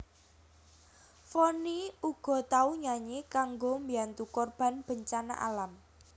Vonny uga tau nyanyi kanggo mbiyantu korban bencana alam